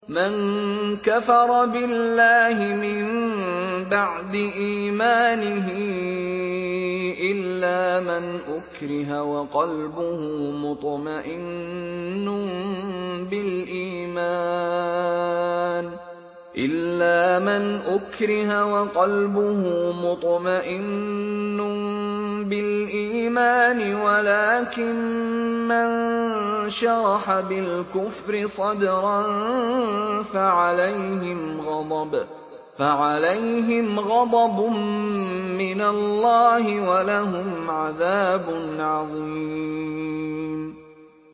مَن كَفَرَ بِاللَّهِ مِن بَعْدِ إِيمَانِهِ إِلَّا مَنْ أُكْرِهَ وَقَلْبُهُ مُطْمَئِنٌّ بِالْإِيمَانِ وَلَٰكِن مَّن شَرَحَ بِالْكُفْرِ صَدْرًا فَعَلَيْهِمْ غَضَبٌ مِّنَ اللَّهِ وَلَهُمْ عَذَابٌ عَظِيمٌ